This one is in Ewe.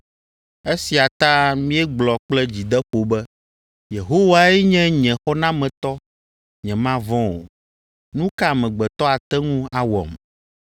Esia ta míegblɔ kple dzideƒo be, “Yehowae nye nye xɔnametɔ, nyemavɔ̃ o. Nu ka amegbetɔ ate ŋu awɔm?”